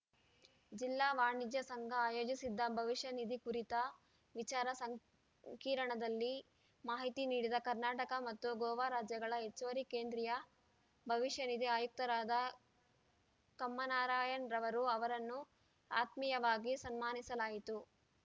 ಜಿಲ್ಲಾ ವಾಣಿಜ್ಯ ಸಂಘ ಆಯೋಜಿಸಿದ್ದ ಭವಿಷ್ಯ ನಿಧಿ ಕುರಿತ ವಿಚಾರ ಸಂ ಕಿರಣದಲ್ಲಿ ಮಾಹಿತಿ ನೀಡಿದ ಕರ್ನಾಟಕ ಮತ್ತು ಗೋವಾ ರಾಜ್ಯಗಳ ಹೆಚ್ಚುವರಿ ಕೇಂದ್ರೀಯ ಭವಿಷ್ಯನಿಧಿ ಆಯುಕ್ತರಾದ ಕಮ್ಮಾ ನಾರಾಯಣ್‌ರವರು ಅವರನ್ನು ಆತ್ಮೀಯವಾಗಿ ಸನ್ಮಾನಿಸಲಾಯಿತು